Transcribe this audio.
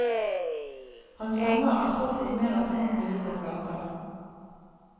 Hans sanger er solgt på mer enn femti millioner plater.